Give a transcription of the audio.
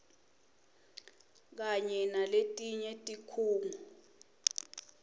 kanye naletinye tikhungo